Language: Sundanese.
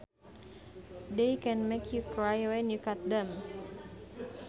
They can make you cry when you cut them